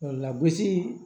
Lagosi